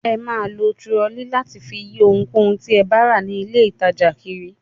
Ẹ máa lo turọlí láti fi yí ohunkóhun tí ẹ bá rà ní ilé-ìtajà kiri.